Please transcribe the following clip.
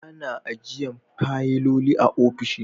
Ana ajiyan fayiloli a ofisoshi